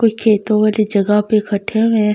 कोइ खेतो वाले जगह पे इकठठे हुए हैं घर बन--